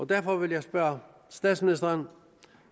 derfor vil jeg spørge statsministeren